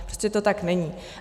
Prostě to tak není.